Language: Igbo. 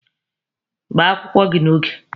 Gbaa akwụkwọ gị n'oge!